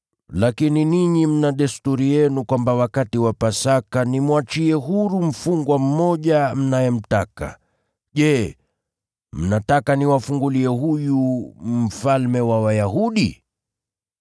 Lakini ninyi mna desturi yenu kwamba wakati wa Pasaka nimwachie huru mfungwa mmoja mnayemtaka. Je, mnataka niwafungulie huyu ‘Mfalme wa Wayahudi’?”